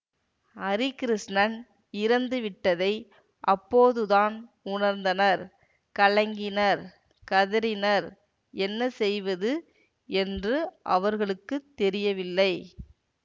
அரிகிருஷ்ணன் இறந்துவிட்டதை அப்போதுதான் உணர்ந்தனர் கலங்கினர் கதறினர் என்ன செய்வது என்று அவர்களுக்கு தெரியவில்லை